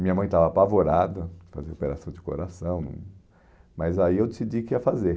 Minha mãe estava apavorada, fazer operação de coração, mas aí eu decidi que ia fazer.